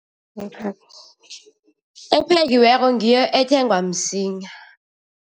Ephekiweko ngiyo ethengwa msinya.